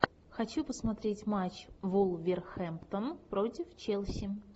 хочу посмотреть матч вулверхэмптон против челси